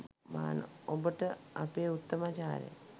ඔබට අපේ උත්තමාචාරය